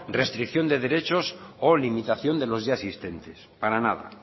restricción de derechos o limitación de los ya existentes para nada